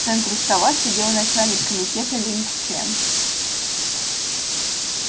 в центре стола сидел начальник комитета линг чен